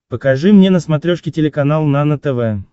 покажи мне на смотрешке телеканал нано тв